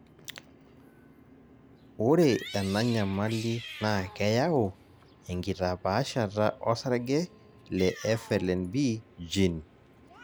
ore ena nyamali naa keyau enkitapaashata osarge le FLNB gene